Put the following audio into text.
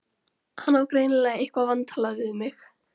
Hann á greinilega eitthvað vantalað við mig.